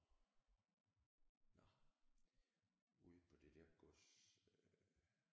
Åh nå ude på det der gods øh